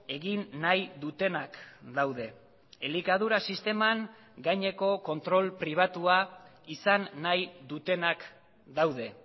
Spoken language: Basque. egin nahi dutenak daude elikadura sisteman gaineko kontrol pribatua izan nahi dutenak daude